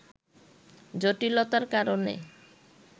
জটিলতার কারণে